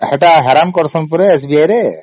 ସେ ବା ହଇରାଣ କରୁଛନ୍ତି SBI ରେ